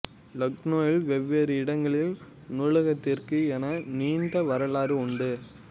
லக்னோவின் வெவ்வேறு இடங்களில் நூலகத்திற்கு என நீண்ட வரலாறு உண்டு